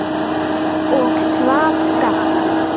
Og Svafa gaf.